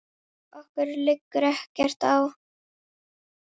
Okkur liggur ekkert á